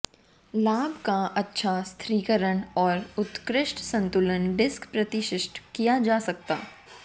लाभ का अच्छा स्थिरीकरण और उत्कृष्ट संतुलन डिस्क प्रतिष्ठित किया जा सकता